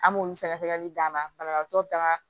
An m'olu sɛgɛsɛgɛli d'an ma banabagatɔw taara